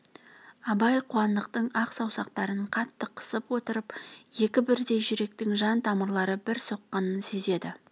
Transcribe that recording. абай қуандықтың ақ саусақтарын қатты қысып отырып екі бірдей жүректің жан тамырлары бір соққанын сезді